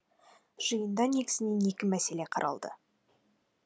жиында негізінен екі мәселе қаралды